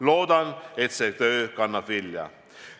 Loodan, et see töö kannab vilja.